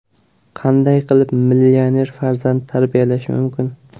Qanday qilib millioner farzand tarbiyalash mumkin?